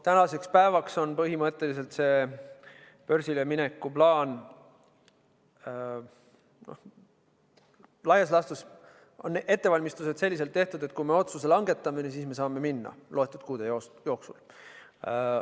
Tänaseks päevaks on börsilemineku plaan põhimõtteliselt sellises seisus, et ettevalmistused on tehtud ja niipea kui me otsuse langetame, saame sinna minna mõne kuu jooksul.